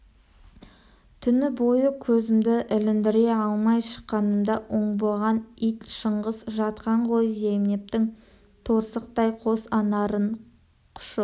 түні бойы көзімді іліндіре алмай шыққанымда оңбаған ит шыңғыс жатқан ғой зейнептің торсықтай қос анарын құшып